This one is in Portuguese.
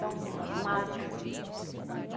estão magro.